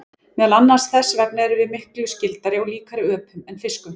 Meðal annars þess vegna erum við miklu skyldari og líkari öpum en fiskum.